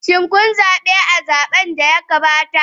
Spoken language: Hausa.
Shin kun zabe a zaben da ya gabata?